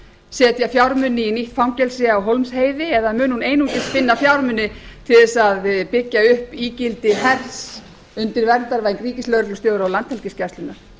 setja fjármuni í nýtt fangelsi á hólmsheiði eða mun hún einungis finna fjármuni til þess að byggja upp ígildi hers undir verndarvæng ríkislögreglustjóra og landhelgisgæslunnar